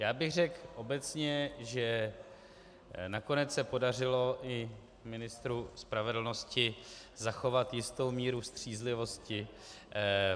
Já bych řekl obecně, že nakonec se podařilo i ministru spravedlnosti zachovat jistou mírou střízlivosti.